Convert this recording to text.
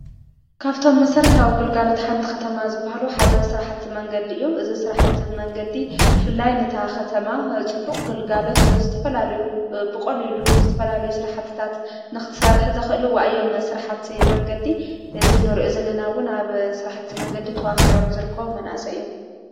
ካብቶም መሠረታ ኣዊ ግልጋሎት ሓንቲ ኸተማ ዝብሃሉ ሓደ ሥርኃቲ መንገዲእዩም እዝ ሥርኃቲ መንገዲ ፍላይ ነታ ኸተማ ጽቡቕ ግልጋሎት ዝትፈላልዩ ብቖልኢሉ ዝተፈላልዩ ሥርሕትታት ንኽትሠርሕ ዘኽእልዋ እዮም ሥርሓቲ መንገዲ ዝነሩዑ ዘለናውን ኣብ ሥርሕቲ መንገዲ ተዋፊሮ ምዝርክ መናሰ እዮም።